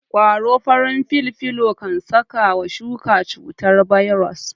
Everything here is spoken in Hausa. ƙwaron farin filfilo kan saka wa shuka cutar bairos